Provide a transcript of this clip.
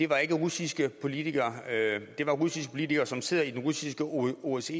var ikke russiske politikere det var russiske politikere som sidder i den russiske osce